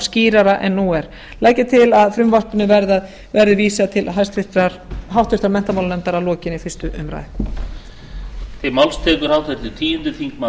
skýrara en nú er legg ég til að frumvarpinu verði vísað til háttvirtrar menntamálanefndar að lokinni fyrstu umræðu